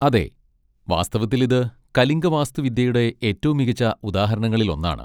അതെ, വാസ്തവത്തിൽ ഇത് കലിംഗ വാസ്തുവിദ്യയുടെ ഏറ്റവും മികച്ച ഉദാഹരണങ്ങളിൽ ഒന്നാണ്.